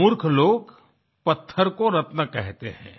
मूर्ख लोग पत्थर को रत्न कहते हैं